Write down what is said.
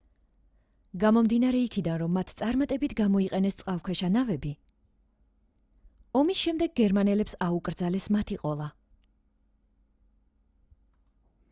გამომდინარე იქიდან რომ მათ წარმატებით გამოიყენეს წყალქვეშა ნავები ომის შემდეგ გერმანელებს აუკრძალეს მათი ყოლა